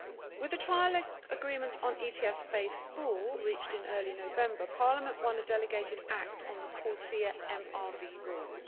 With a trilogue agreement on ETS Phase 4 reached in early November, Parliament won a delegated act on the CORSIA MRV rules.